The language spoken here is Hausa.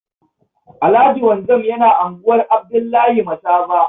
Alhaji Wanzam yana unguwar Abdullahi Masaba.